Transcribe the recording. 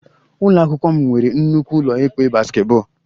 Ụlọ akwụkwọ m nwere nnukwu ụlọ ikpe basketball